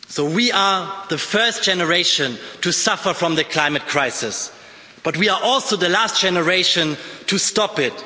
We are the first generation to suffer from the climate crisis, but we are also the last generation to stop it.